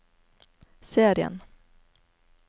serien